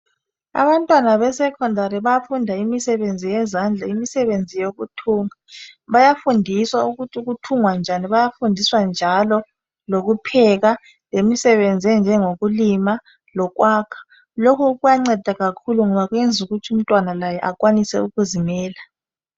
Abantwana beSecondary bayafunda imisebenzi yezandla imisebenzi yokuthunga bayafundiswa ukuthi kuthungwa njani bayafundiswa njalo lokupheka lemisebenzi enjengoku lima lokwakha. Lokhu kuyanceda kakhulu ngoba umntwana akwanise ukuzimela.